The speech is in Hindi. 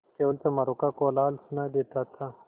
केवल चमारों का कोलाहल सुनायी देता था